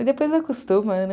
E depois acostuma, né?